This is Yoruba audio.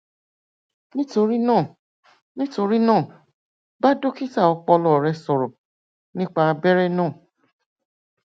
nítorí náà nítorí náà bá dókítà ọpọlọ rẹ sọrọ nípa abẹrẹ náà